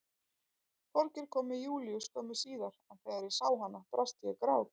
Þorgeir kom með Júlíu skömmu síðar en þegar ég sá hana brast ég í grát.